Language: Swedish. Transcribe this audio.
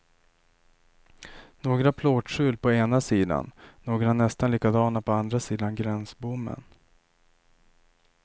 Några plåtskjul på ena sidan, några nästan likadana på andra sidan gränsbommen.